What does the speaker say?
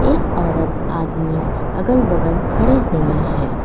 एक औरत आदमी अगल बगल खड़े हुए हैं।